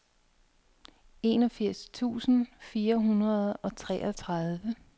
enogfirs tusind fire hundrede og treogtredive